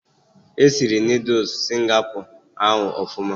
Esiri Noodul Singapọ ahụ ọfụma